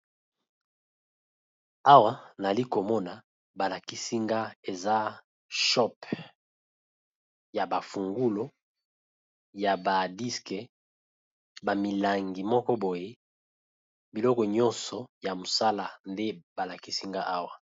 Awa nali komona ba lakisi nga eza shop ya ba fungulu, ya ba disk, ba milangi moko boye biloko nyonso ya mosala nde ba lakisi nga awa.